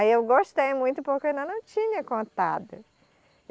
Aí eu gostei muito porque eu ainda não tinha contado.